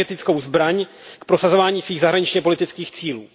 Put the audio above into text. energetickou zbraň k prosazování svých zahraničněpolitických cílů.